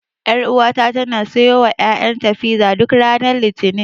Ƴaruwata tana siyowa ƴaƴanta fiza, duk ranar Litinin.